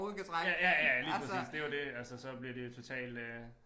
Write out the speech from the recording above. Ja ja ja ja lige præcis det jo det altså så bliver de jo totalt øh